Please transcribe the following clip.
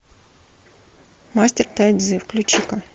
мастер тай цзи включи ка